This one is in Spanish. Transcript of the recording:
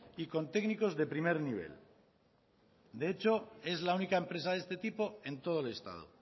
y con técnicos de primer nivel de hecho es la única empresa de este tipo en todo el estado